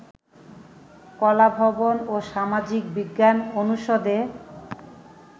কলাভবন ও সামাজিক বিজ্ঞান অনুষদে